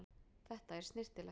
Þetta er snyrtilegt.